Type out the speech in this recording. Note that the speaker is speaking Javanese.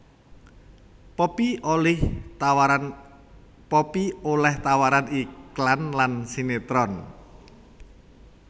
Poppy olih tawaran iklan lan sinetron